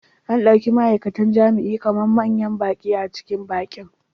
An ɗauki ma'aikatan jima'i kamar manyan baƙi a cikin bikin.